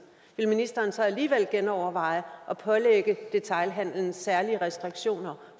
vil ministeren så alligevel genoverveje at pålægge detailhandelen særlige restriktioner